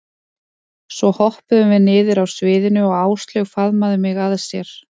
Svo hoppuðum við niður af sviðinu og Áslaug faðmaði mig að sér.